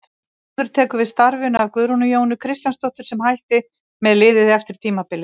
Þórður tekur við starfinu af Guðrúnu Jónu Kristjánsdóttur sem hætti með liðið eftir tímabilið.